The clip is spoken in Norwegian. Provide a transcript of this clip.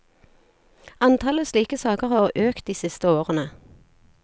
Antallet slike saker har økt de siste årene.